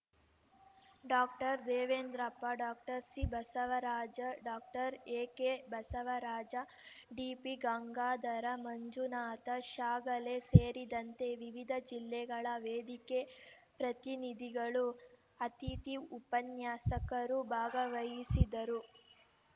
doctor Devendrappa doctor ಸಿಬಸವರಾಜ doctor ಎಕೆಬಸವರಾಜ ಡಿಪಿಗಂಗಾಧರ Manjunatha Shyagale ಸೇರಿದಂತೆ ವಿವಿಧ ಜಿಲ್ಲೆಗಳ ವೇದಿಕೆ ಪ್ರತಿನಿಧಿಗಳು ಅತಿಥಿ ಉಪನ್ಯಾಸಕರು ಭಾಗವಹಿಸಿದ್ದರು